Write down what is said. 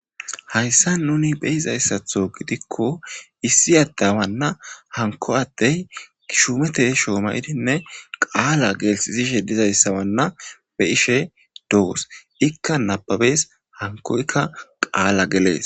hayssa nuni beyizayssatho gidikko issi addawanna hanko addey kishumete shoomayidinne qaala geelsizishe dizayssawanna be ishe doos ikka nababes hankoykka qaala gelees